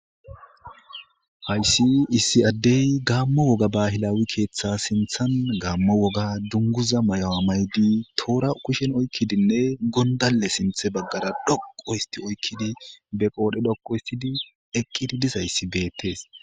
Haysi issi Adey gamo woga bahilaw keetha sinthani gamo woga dunguza mayuwa mayid tora kushen oykidinne gondale sinthe bagara dhoqu hist oykid be qodhe dhoqu histidinne eqid dizays betes.